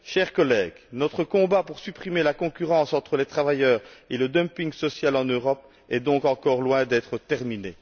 Chers collègues, notre combat pour supprimer la concurrence entre les travailleurs et le dumping social en Europe est donc encore loin d'être terminé.